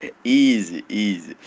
изи изи